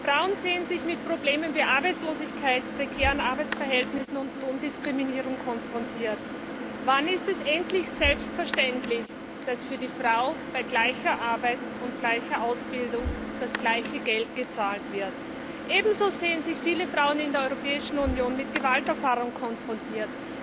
Frauen sehen sich mit Problemen wie Arbeitslosigkeit, prekären Arbeitsverhältnissen und Lohndiskriminierung konfrontiert. Wann ist es endlich selbstverständlich, dass Frauen bei gleicher Arbeit und gleicher Ausbildung das gleiche Geld erhalten? Ebenso sehen sich viele Frauen in der Europäischen Union mit Gewalterfahrungen konfrontiert.